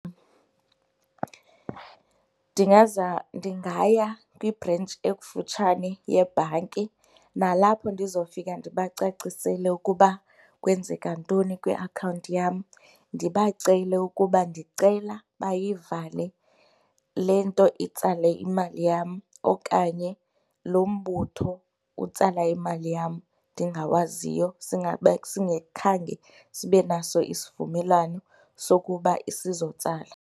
Ndingaya kwibhrentshi ekufutshane yebhanki nalapho ndizofika ndibacacisele ukuba kwenzeka ntoni kwiakhawunti yam. Ndibacele ukuba ndicela bayivale le nto itsale imali yam okanye lo mbutho utsala imali yam ndingawaziyo singakhange sibe naso isivumelwano sokuba sizotsala.